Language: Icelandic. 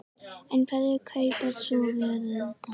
En hverjir kaupa svo vörurnar?